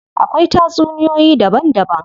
Akwai tatsuniyoyi daban daban.